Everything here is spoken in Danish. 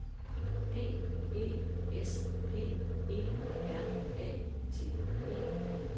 D E S P E R A T E